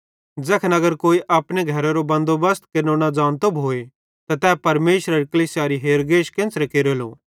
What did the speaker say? ज़ैखन अगर कोई अपने घरेरो बन्दो बसत केरनो न ज़ानतो भोए त तै परमेशरेरी कलीसियारी हेरगेश केन्च़रे केरेलो